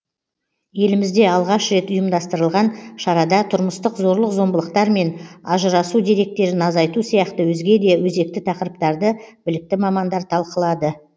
елімізде алғаш рет ұйымдастырылған шарада тұрмыстық зорлық зомбылықтар мен ажырасу деректерін азайту сияқты өзге де өзекті тақырыптарды білікті мамандар талқылады